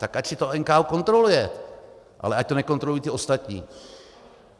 Tak ať si to NKÚ kontroluje, ale ať to nekontrolují ti ostatní.